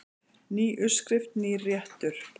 Ný uppskrift, nýr réttur.